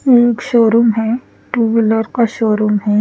ये एक शोरूम है टू व्हीलर का शोरूम है ।